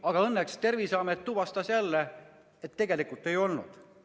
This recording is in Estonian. Aga õnneks Terviseamet tuvastas, et tegelikult tal seda ei olnud.